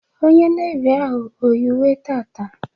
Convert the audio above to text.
Onye Nevi ahụ eyi uwe taata?